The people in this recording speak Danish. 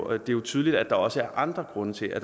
er jo tydeligt at der også er andre grunde til at